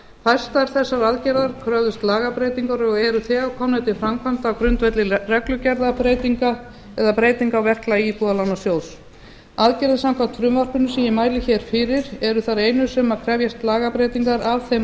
fæstar þessara aðgerða kröfðust lagabreytingar og eru þegar komnar til framkvæmda á grundvelli reglugerðarbreytinga eða breyting á verklagi íbúðalánasjóðs aðgerðir samkvæmt frumvarpinu sem ég mæli hér fyrir eru þær einu sem krefjast lagabreytingar af þeim